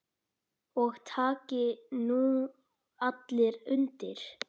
Og taki nú allir undir.